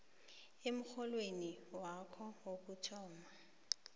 emrholweni wakho wokuthoma